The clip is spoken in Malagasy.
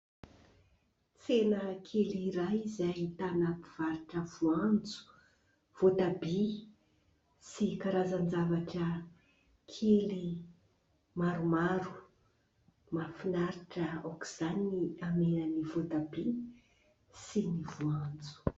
Tsena kely iray, izay ahitana mpivarotra voanjo, voatabia, sy karazan-javatra kely maromaro. Mahafinaritra aok'izany ny hamenan'ny voatabia sy ny voanjo.